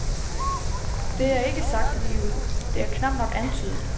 Det er ikke sagt ligeud, det er knapt nok antydet.